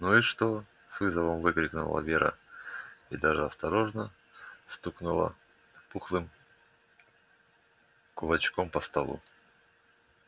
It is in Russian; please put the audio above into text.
ну и что с вызовом выкрикнула вера и даже осторожно стукнула пухлым кулачком по столу